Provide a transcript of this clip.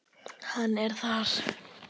Hann er þar.